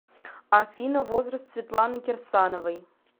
афина возраст светланы кирсановой